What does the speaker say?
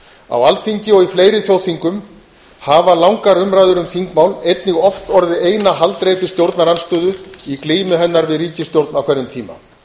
á alþingi og í fleiri þjóðþingum hafa langar umræður um þingmál einnig oft orðið eina haldreipi stjórnarandstöðu í glímu hennar við ríkisstjórn á hverjum tíma